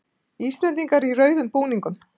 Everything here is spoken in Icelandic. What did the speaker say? Íslendingar í rauðu búningunum